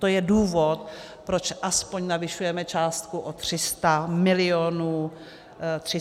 To je důvod, proč aspoň navyšujeme částku o 300 mil. korun.